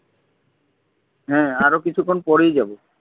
হ্যাঁ আরো কিছুক্ষন পরেই যাবো।